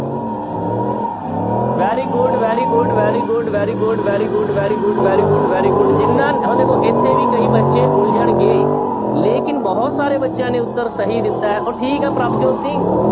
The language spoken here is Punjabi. Very good, very good, very good, very good, very good, very good, very good, very good ਜਿਹਨਾਂ ਹੁਣ ਦੇਖੋ ਇੱਥੇ ਵੀ ਕਈ ਬੱਚੇ ਉਲਝਣਗੇ ਲੇਕਿੰਨ ਬਹੁਤ ਸਾਰੇ ਬੱਚਿਆਂ ਨੇ ਉੱਤਰ ਸਹੀ ਦਿੱਤਾ ਹੈ, ਉਹ ਠੀਕ ਹੈ ਪ੍ਰਭਜੋਤ ਸਿੰਘ।